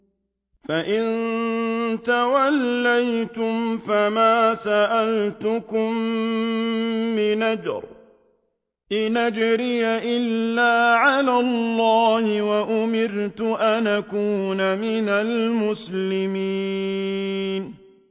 فَإِن تَوَلَّيْتُمْ فَمَا سَأَلْتُكُم مِّنْ أَجْرٍ ۖ إِنْ أَجْرِيَ إِلَّا عَلَى اللَّهِ ۖ وَأُمِرْتُ أَنْ أَكُونَ مِنَ الْمُسْلِمِينَ